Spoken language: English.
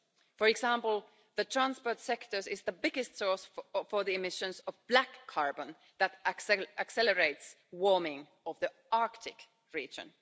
For example, the transport sector is the biggest source of emissions of black carbon that accelerates the warming of the Arctic region.